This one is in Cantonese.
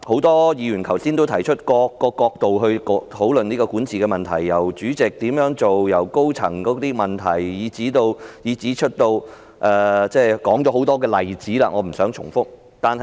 多位議員剛才從不同角度討論管治問題，例如港鐵公司主席的責任、高層問題，以至其他多個例子，我不想重複。